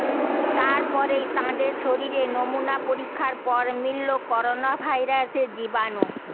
তারপরেই তাঁদের শরীরে নমুনা পরীক্ষার পর মিলল করোনা ভাইরাসের জীবাণু